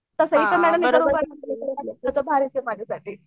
तसं इथं भारीच आहे माझ्यासाठी.